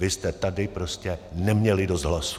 Vy jste tady prostě neměli dost hlasů.